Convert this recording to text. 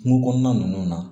Kungo kɔnɔna ninnu na